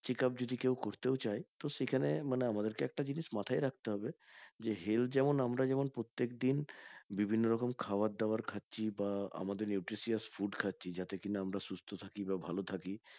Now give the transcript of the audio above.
Checkup যদি কেউ করতেও চাই তো সেখানে মানে আমাদেরকে একটা জিনিস মাথায় রাখতে হবে যে health যেমন আমরা যেমন প্রত্যেকদিন বিভিন্ন রকম খাবার দাবার খাচ্ছি বা আমাদের nutritious food খাচ্ছি যাতে কিনা আমরা সুস্থ থাকি বা ভালো থাকি